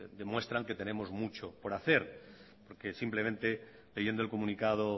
demuestran que tenemos mucho que hacer porque simplemente leyendo el comunicado